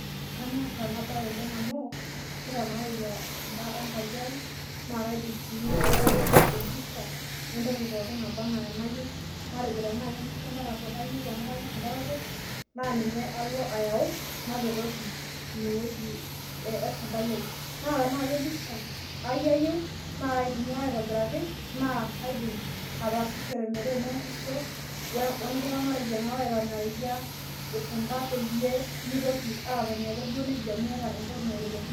Kanyor ena bae amu ,kitanareyia sunta enkaji ai naa kaidim sii ayau empisha entoki pookin naba enaa enayieu. Matejo tenaa kempisha entarakwet ayieu emu kanyor entarakwet, naa kalo ayau nepetoki ine weji esuntai ai. Naa tenaa kepisha ai ayieu naa kaidimi ake aitobiraki naidim ataasishore enenkusa wenkitanareyia isunta peyie mitoki ake atoni nejia meeta enatoki naitelekino.